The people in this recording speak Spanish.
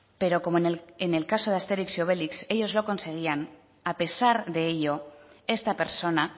pero como en el caso de asterix y obelix ellos lo conseguían a pesar de ello esta persona